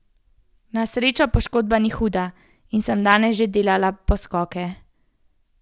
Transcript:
Na srečo poškodba ni huda in sem danes že delala poskoke.